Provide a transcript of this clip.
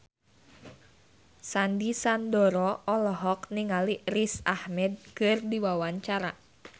Sandy Sandoro olohok ningali Riz Ahmed keur diwawancara